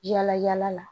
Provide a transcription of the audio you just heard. Yala yala la